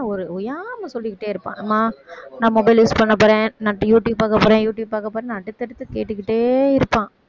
ஒரு ஓயாம சொல்லிக்கிட்டே இருப்பான் அம்மா நான் mobile use பண்ணப்போறேன் நான் யூ~ யூடுயூப் பார்க்க போறேன்னு யூடுயூப் பார்க்க போறேன்னு அடுத்தடுத்து கேட்டுக்கிட்டே இருப்பான்